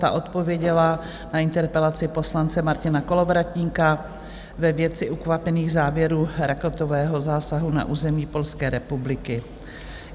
Ta odpověděla na interpelaci poslance Martina Kolovratníka ve věci ukvapených závěrů raketového zásahu na území Polské republiky.